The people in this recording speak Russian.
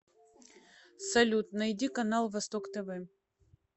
салют найди канал восток тв